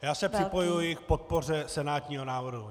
Já se připojuji k podpoře senátního návrhu.